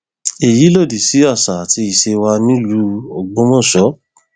èyí lòdì sí àṣà àti ìṣe wa nílùú ògbómọṣọ